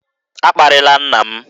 A kparịla nna m!